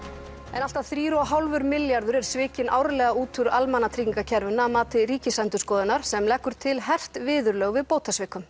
en allt að þrír og hálfur milljarður er svikinn árlega út úr almannatryggingakerfinu að mati Ríkisendurskoðunar sem leggur til hert viðurlög við bótasvikum